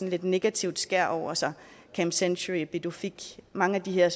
lidt negativt skær over sig camp century pituffik mange af de her